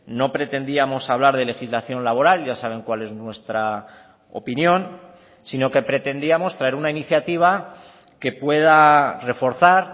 no pretendíamos hablar de legislación laboral ya saben cuál es nuestra opinión sino que pretendíamos traer una iniciativa que pueda reforzar